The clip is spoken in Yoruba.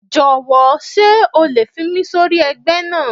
Jọ̀wọ́ sé o lè fi mí sórí ẹgbẹ́ náà